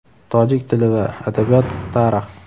Tojik tili va adabiyot, Tarix.